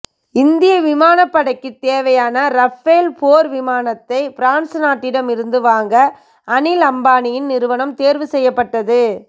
இந்திய விமானப்படைக்கு தேவையான ரஃபேல் போர் விமானத்தை பிரான்ஸ் நாட்டிடம் இருந்து வாங்க அனில் அம்பானியின் நிறுவனம் தேர்வு செய்யப்பட்டது